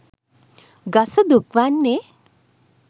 ගස දුක් වන්නේ